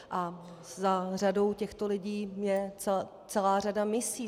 A za řadou těchto lidí je celá řada misí.